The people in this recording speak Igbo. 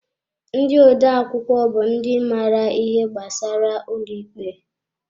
Ndị odeakwụkwọ bụ ndị maara ihe gbasara ụlọ ikpe.